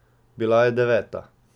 Bila je deveta.